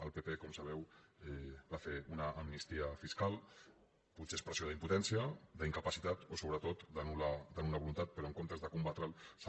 el pp com sabeu va fer una amnistia fiscal potser expressió d’impotència d’incapacitat o sobretot de nultat però en comptes de combatre’l s’ha